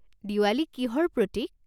দিৱালী কিহৰ প্ৰতিক?